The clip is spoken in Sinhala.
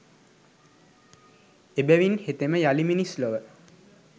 එබැවින් හෙතෙම යළි මිනිස් ලොව